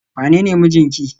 wanene mijinki?